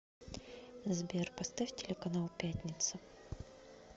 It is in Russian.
сбер поставь телеканал пятница